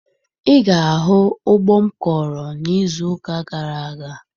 Ị ga-ahụ ugbo m kọrọ n'izuụka gara aga